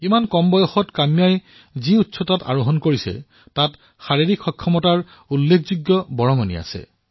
ইমান কম বয়সতে কাম্যাই যি উচ্চতাত অৱৰোহণ কৰিছে তাত ফিটনেছৰো বহু গুৰুত্ব আছে